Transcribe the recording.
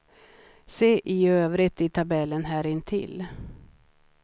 Se i övrigt i tabellen här intill.